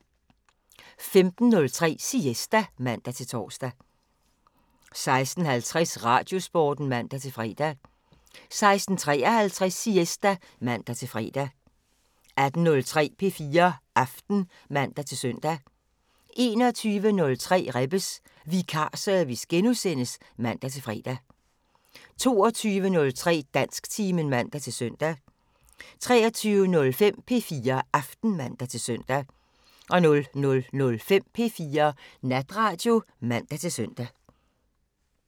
15:03: Siesta (man-tor) 16:50: Radiosporten (man-fre) 16:53: Siesta (man-fre) 18:03: P4 Aften (man-søn) 21:03: Rebbes Vikarservice *(man-fre) 22:03: Dansktimen (man-søn) 23:05: P4 Aften (man-søn) 00:05: P4 Natradio (man-søn)